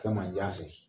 Fɛn man diya se